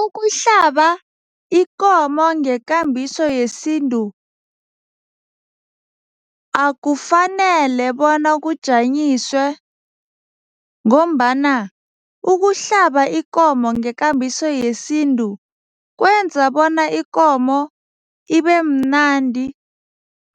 Ukuhlaba ikomo ngekambiso yesintu akufanele bona kujanyiswe ngombana ukuhlaba ikomo ngekambiso yesintu kwenza bona ikomo ibemnandi